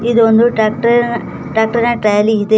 ಇದು ಒಂದು ಟ್ಯಾಕ್ಟರ್ ನ ಟ್ರ್ಯಾಕ್ಟರ್ ನ ಟ್ರ್ಯಾಲಿ ಇದೆ.